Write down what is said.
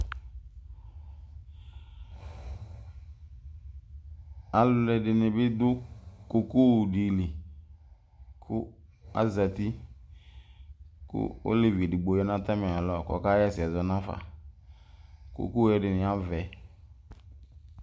alʊɛɗɩnɩ ɗʊ ƙoƙosɩ atanɩzatɩ mɛ oleʋɩɗɩ ƴanʊ atamɩalɔ ƙɔƙahɛsɛ naƒa ƙoƙo ɛɗɩnɩ aʋɛ